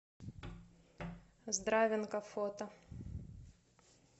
здравинка фото